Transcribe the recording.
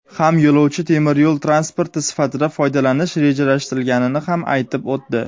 ham yo‘lovchi temir yo‘l transporti sifatida foydalanish rejalashtirilganini ham aytib o‘tdi.